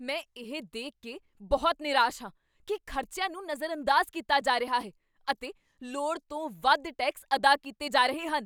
ਮੈਂ ਇਹ ਦੇਖ ਕੇ ਬਹੁਤ ਨਿਰਾਸ਼ ਹਾਂ ਕੀ ਖ਼ਰਚਿਆਂ ਨੂੰ ਨਜ਼ਰਅੰਦਾਜ਼ ਕੀਤਾ ਜਾ ਰਿਹਾ ਹੈ, ਅਤੇ ਲੋੜ ਤੋਂ ਵੱਧ ਟੈਕਸ ਅਦਾ ਕੀਤੇ ਜਾ ਰਹੇ ਹਨ।